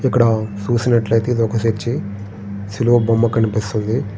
ఇక్కడ చూసినట్లు ఐతే ఇది ఒక చర్చి . సిలువ బొమ్మ కనిపిస్తుంది.